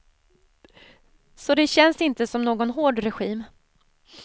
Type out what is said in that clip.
Så det känns inte som någon hård regim.